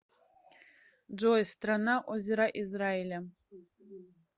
джой страна озера израиля